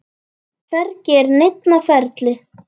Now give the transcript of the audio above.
Hvergi er neinn á ferli.